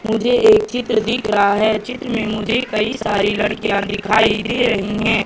मुझे एक चित्र दिख रहा हैं चित्र में मुझे कई सारी लड़कियां दिखाई दे रही हैं।